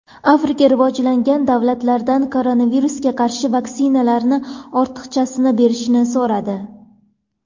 Afrika rivojlangan davlatlardan koronavirusga qarshi vaksinalarning ortiqchasini berishni so‘radi.